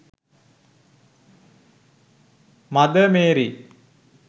mother mary